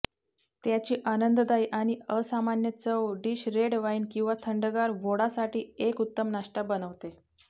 त्याची आनंददायी आणि असामान्य चव डिश रेड वाईन किंवा थंडगार व्होडासाठी एक उत्तम नाश्ता बनवते